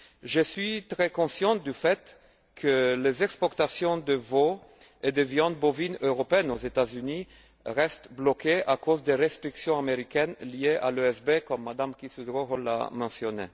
Je suis très conscient du fait que les exportations de veau et de viande bovine européenne aux États Unis restent bloquées à cause des restrictions américaines liées à l'ESB, comme Mme Quisthoudt Rowohl l'a mentionné.